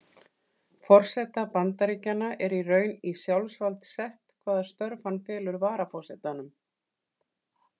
Forseta Bandaríkjanna er í raun í sjálfvald sett hvaða störf hann felur varaforsetanum.